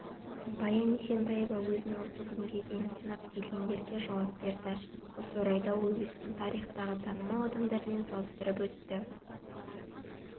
баян есентаева өзін осы күнге дейін сынап келгендерге жауап берді осы орайда ол өзін тарихтағы танымал адамдармен салыстырып өтті